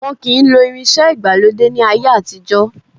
Wọn kì í lo irinsẹ́ ìgbàlódé ni ayé àtijọ́.